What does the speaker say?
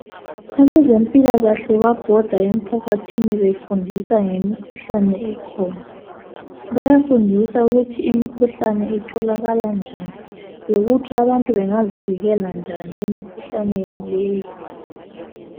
Abezempilakahle babhoda emphakathini befundisa ngemikhuhlane ekhona bayafundiswa ukuthi imikhuhlane itholakala njani lokuthi abantu bengazivikela njani emikhuhlaneni leyi